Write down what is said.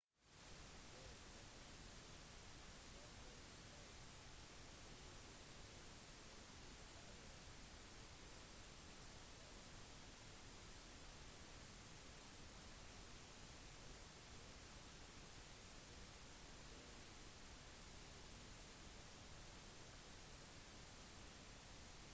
det opprinnelige lovforslaget ble utarbeidet av tidligere ordfører i são paulo marta suplicy. etter endringen er nå ansvaret for den foreslåtte lovgivningen lagt i roberto jefferson sine hender